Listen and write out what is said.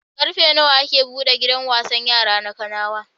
Ƙarfe nawa ake buɗe gidan wasan yara na Kanawa?